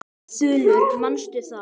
Þulur: Manstu það?